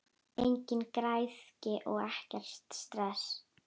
Engin græðgi og ekkert stress!